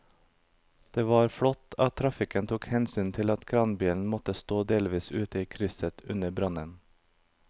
Det var flott at trafikken tok hensyn til at kranbilen måtte stå delvis ute i krysset under brannen.